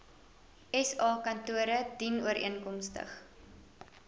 sa kantore dienooreenkomstig